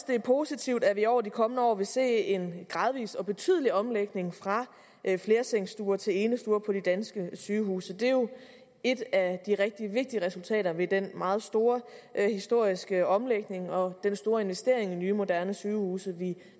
det er positivt at vi over de kommende år vil se en gradvis og betydelig omlægning fra flersengsstuer til enestuer på de danske sygehuse det er jo et af de rigtig vigtige resultater ved den meget store historiske omlægning og den store investering i nye moderne sygehuse vi